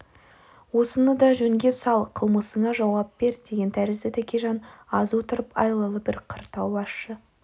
осынынды жөнге сал қылмысыңа жауап бер деген тәрізді тәкежан аз отырып айлалы бір қыр тауып ащы